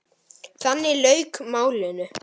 Þannig lauk málinu.